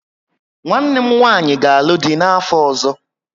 Nwanne m nwanyị ga alụ dị n'afọ ọzọ